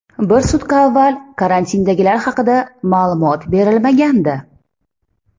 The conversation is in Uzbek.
Bir sutka avval karantindagilar haqida ma’lumot berilmagandi.